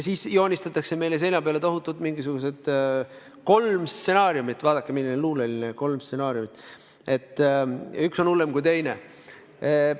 Meile joonistatakse seina peale mingisugused kolm stsenaariumi – vaadake, milline luuleline väljend, "kolm stsenaariumi" –, üks on hullem kui teine.